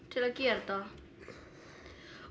til að gera þetta